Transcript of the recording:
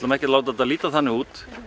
ekki að láta þetta líta þannig út